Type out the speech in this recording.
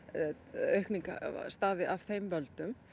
aukning stafi af þeim völdum